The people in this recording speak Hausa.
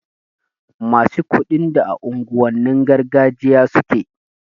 Masu kuɗin da a unguwannin gargajiya suke